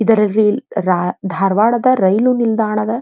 ಇದರಲ್ಲಿ ರಾ ಧಾರವಾಡದ ರೈಲು ನಿಲ್ದಾಣದ --